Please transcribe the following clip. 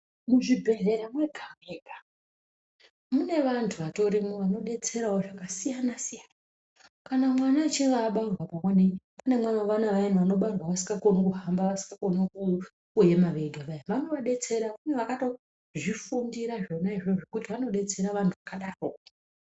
Muzvibhehlera mwega mwega munevantu vatorimo vanodetserawo zvakasiyanasiyana kana mwana echinga abarwa pamweni kune vana vayani vanobarwa vasingakoni kuhamba ,kuema vega vaya vanoadetsera kune vantu vakatozvifundira kuti vanodetsera vantu vakadaro.